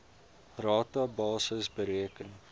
rata basis bereken